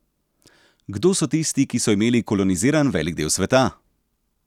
Kdo so tisti, ki so imeli koloniziran velik del sveta?